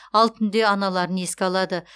ал түнде аналарын еске алады